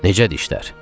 Necədir işlər?